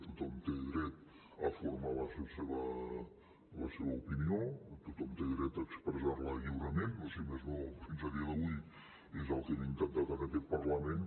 tothom té dret a formar se la seva opinió tothom té dret a expressar la lliurement o si més no fins a dia d’avui és el que hem intentat en aquest parlament